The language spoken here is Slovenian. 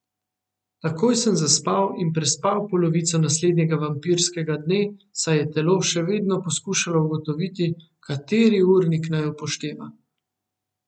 Takoj sem zaspal in prespal polovico naslednjega vampirskega dne, saj je telo še vedno poskušalo ugotoviti, kateri urnik naj upošteva.